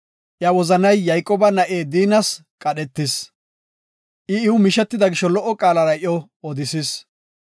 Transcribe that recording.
Iya wozanay Yayqooba na7iw Diinas qadhetis. I iw mishetida gisho lo77o qaalara iyo odisis.